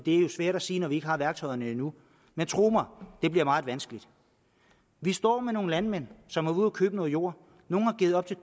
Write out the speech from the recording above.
er jo svært at sige når vi ikke har værktøjerne endnu men tro mig det bliver meget vanskeligt vi står med nogle landmænd som har været ude at købe noget jord nogle har givet op til